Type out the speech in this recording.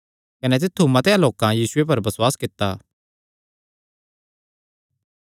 कने तित्थु मतेआं लोकां यीशुये पर बसुआस कित्ता